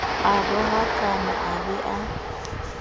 a rohakane a be a